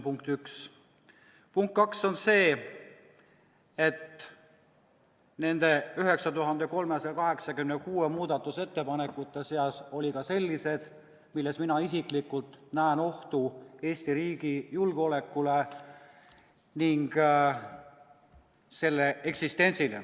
Punkt kaks on see, et nende 9386 muudatusettepaneku seas oli ka selliseid, milles mina isiklikult näen ohtu Eesti riigi julgeolekule ning selle eksistentsile.